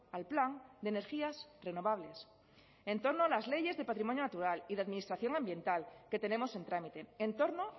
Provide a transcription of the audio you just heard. al plan de energías renovables en torno a las leyes de patrimonio natural y de administración ambiental que tenemos en trámite en torno